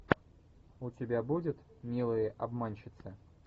у тебя будет милые обманщицы